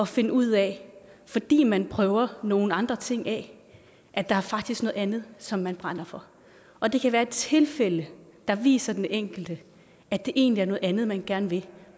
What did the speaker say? finde ud af fordi man prøver nogle andre ting af at der faktisk er noget andet som man brænder for og det kan være tilfældet der viser den enkelte at det egentlig er noget andet man gerne vil